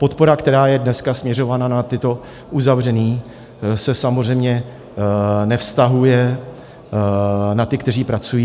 Podpora, která je dneska směřována na tato uzavření, se samozřejmě nevztahuje na ty, kteří pracují.